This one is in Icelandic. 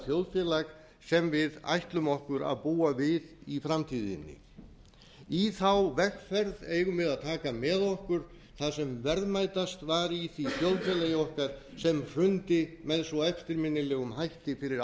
þjóðfélag sem við ætlum okkur að búa við í framtíðinni í vegferð eigum við að taka með okkur það sem verðmætast var í því þjóðfélagi okkar sem hrundi með svo eftirminnilegum hætti fyrir